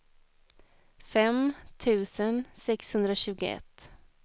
fem tusen sexhundratjugoett